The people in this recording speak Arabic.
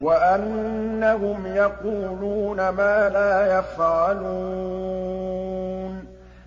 وَأَنَّهُمْ يَقُولُونَ مَا لَا يَفْعَلُونَ